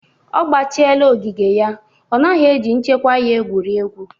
Ọ gbachịela ogige ya; ọ naghị eji nchekwa ya egwuri egwu